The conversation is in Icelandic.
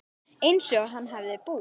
Einsog hann hefði búið.